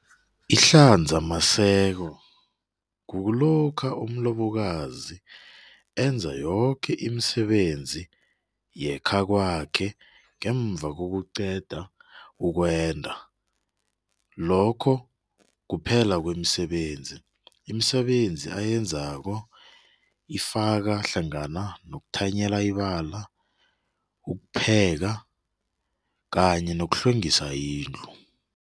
Ihlanzamaseko kulokha umlobokazi enza yoke imisebenzi yekhakwakhe ngemva nokuqeda ukwenda, lokho kuphela kwemisebenzi. Imisebenzi ayenzako ifaka hlangana nokuthanyela ibala, ukupheka kanye nokuhlwengisa indlu.